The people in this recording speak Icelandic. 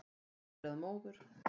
Eftir að móður